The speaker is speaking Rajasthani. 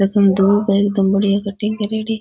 आ तो धुब है एकदम बढ़िया कटिंग करेड़ी।